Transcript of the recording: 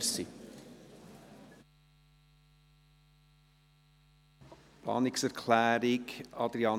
Bei der Umsetzung der Direktionsreform sind die dezentralen Strukturen zu berücksichtigen.